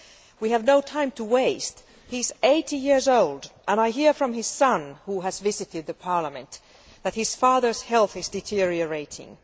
We have no time to waste he is 80 years old, and I hear from his son, who has visited Parliament, that his father's health is deteriorating.